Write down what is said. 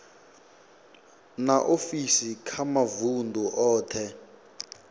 na ofisi kha mavundu othe